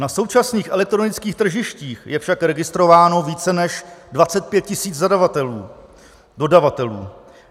Na současných elektronických tržištích je však registrováno více než 25 tisíc zadavatelů, dodavatelů.